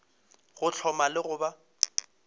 go hloma le go ba